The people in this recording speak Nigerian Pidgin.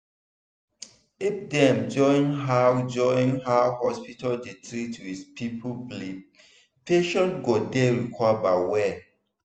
if dem join how join how hospital dey treat with people belief patient go dey recover well.